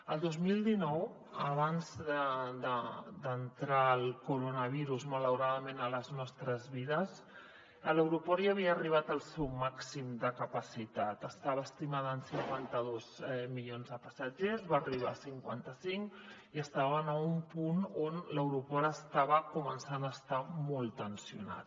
el dos mil dinou abans d’entrar el coronavirus malauradament a les nostres vides l’aeroport ja havia arribat al seu màxim de capacitat estava estimada en cinquanta dos milions de passatgers va arribar a cinquanta cinc i estava en un punt on l’aeroport estava començant a estar molt tensionat